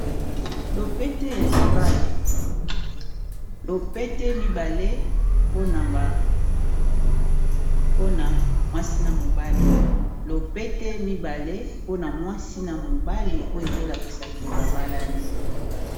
Na mwasi na mobali, lopete mibale oyo ezo lakisaka que ba balani .